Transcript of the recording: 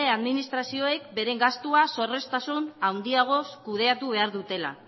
administrazioek beren gastua zorroztasun handiagoz kudeatu behar dutela